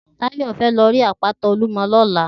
Tayo fè lò ri àpátá ólúmò lòlá